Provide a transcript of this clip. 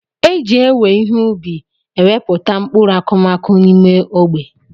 Eji ewe ihe ubi ewepụta mkpụrụ akụmakụ n'ime ogbe.